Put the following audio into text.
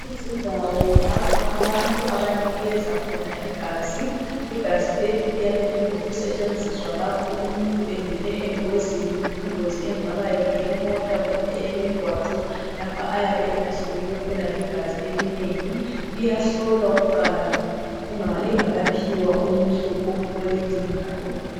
Izindawo lapho abantu abanikeza khona igazi. Igazi leli liyabe lingokusetshenziswa lapho umuntu engene engozini. Ingozi engaba ngeyemota kumbe eyemigwaqo lapha ayabe elahlekelwe khona ligazi elinengi. Liyahlolwa kuqala lingakaphiwa umuntu olidingayo.